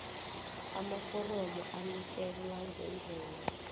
amaforomo anikelwa ngendlela